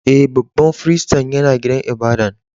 E,babban firistin ya na gidan ibada'n.